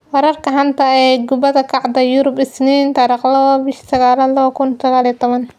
Wararka xanta ah ee kubada cagta Yurub Isniin 02.09.2019: Neymar, Falcao, Mkhitaryan, Skrtel, Rebic, Areola, Rakitic